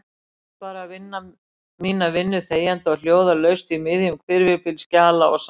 Reyndi bara að vinna mína vinnu þegjandi og hljóðalaust í miðjum hvirfilbyl skjala og samstarfsmanna.